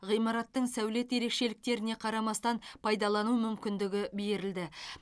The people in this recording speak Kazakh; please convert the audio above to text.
ғимараттың сәулет ерекшеліктеріне қарамастан пайдалану мүмкіндігі берілді